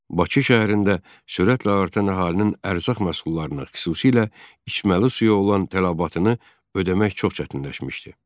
Bakı şəhərində sürətlə artan əhalinin ərzaq məhsullarına, xüsusilə içməli suya olan tələbatını ödəmək çox çətinləşmişdi.